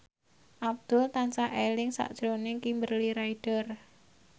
Abdul tansah eling sakjroning Kimberly Ryder